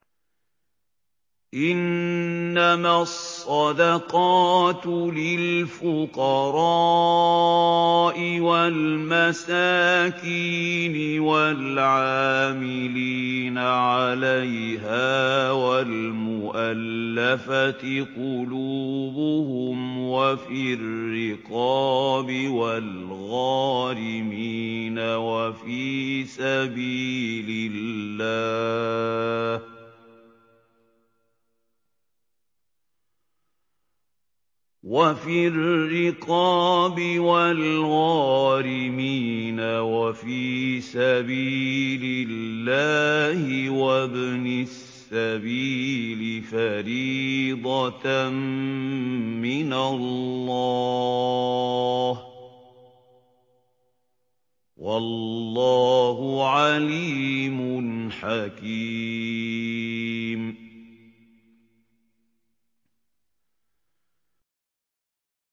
۞ إِنَّمَا الصَّدَقَاتُ لِلْفُقَرَاءِ وَالْمَسَاكِينِ وَالْعَامِلِينَ عَلَيْهَا وَالْمُؤَلَّفَةِ قُلُوبُهُمْ وَفِي الرِّقَابِ وَالْغَارِمِينَ وَفِي سَبِيلِ اللَّهِ وَابْنِ السَّبِيلِ ۖ فَرِيضَةً مِّنَ اللَّهِ ۗ وَاللَّهُ عَلِيمٌ حَكِيمٌ